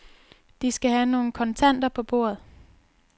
De skal have nogle kontanter på bordet.